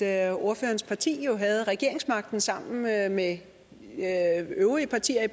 at ordførerens parti jo havde regeringsmagten sammen med med øvrige partier i